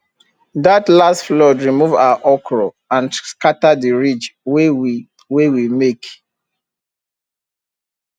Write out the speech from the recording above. that last flood remove our okra and scatter the ridge wey we wey we make